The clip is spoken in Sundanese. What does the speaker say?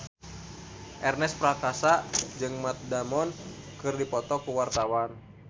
Ernest Prakasa jeung Matt Damon keur dipoto ku wartawan